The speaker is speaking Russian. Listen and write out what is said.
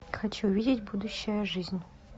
хочу видеть будущая жизнь